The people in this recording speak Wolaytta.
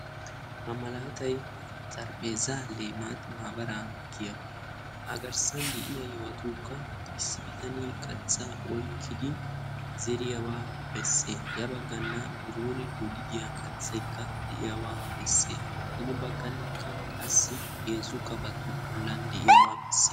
Ha malaatay "xarapheezzay limat maabaraa" giyaba. Agarssana de'iya yohotukka issi bitanee kattaa oyiqqi zeeriyagaa besses. Ya baggan dolidiya kattaykka de'iyabaa besses. Hini baggankka qassi heezzu kafoti bollan de'iyaba besses.